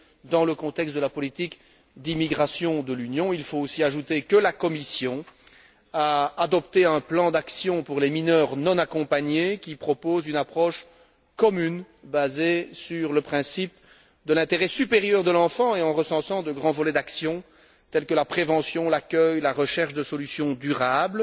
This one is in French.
Dans le contexte de la politique d'immigration de l'Union, il faut aussi ajouter que la Commission a adopté un plan d'action pour les mineurs non accompagnés, qui propose une approche commune basée sur le principe de l'intérêt supérieur de l'enfant, et en recensant de grands volets d'action tels que la prévention, l'accueil, la recherche de solutions durables.